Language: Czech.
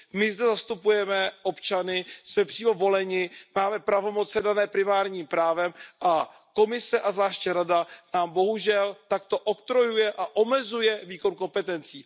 My zde zastupujeme občany, jsme přímo voleni, máme pravomoci dané primárním právem a Komise a zvláště Rada nám bohužel takto odkrojuje a omezuje výkon kompetencí.